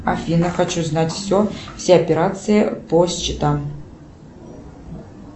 афина хочу знать все все операции по счетам